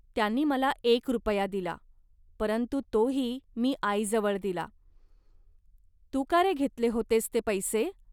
त्यांनी मला एक रुपया दिला, परंतु तोही मी आईजवळ दिला. तू का रे घेतले होतेस ते पैसे